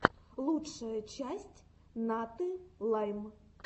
лучшая часть наты лайм